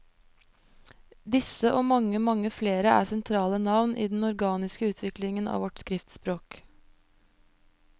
Disse og mange, mange flere er sentrale navn i den organiske utviklingen av vårt skriftspråk.